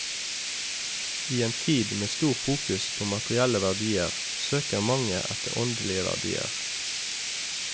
I en tid med stor fokus på materielle verdier søker mange etter åndelige verdier.